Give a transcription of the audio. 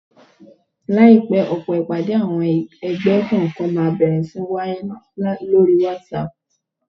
Láìpẹ́, ọ̀pọ̀ ìpàdé àwọn ẹgbẹ́ kọ̀ọ̀kan máa bẹ̀rẹ̀ sí ní wáyé lóri whatsapp